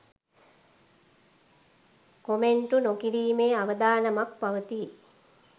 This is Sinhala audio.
කොමෙන්ටු නොකිරීමේ අවධානමක් පවතී